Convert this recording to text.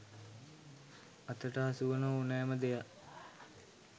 අතට හසුවන ඕනෑම දෙයක්